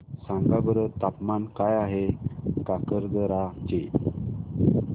सांगा बरं तापमान काय आहे काकरदरा चे